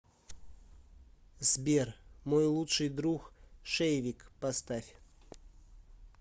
сбер мой лучший друг шейвик поставь